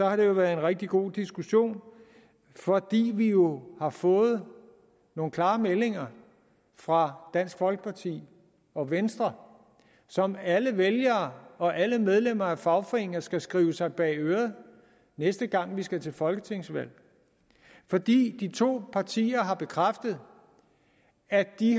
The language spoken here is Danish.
har det været en rigtig god diskussion fordi vi jo har fået nogle klare meldinger fra dansk folkeparti og venstre som alle vælgere og alle medlemmer af fagforeninger skal skrive sig bag øret næste gang vi skal til folketingsvalg for de to partier har bekræftet at de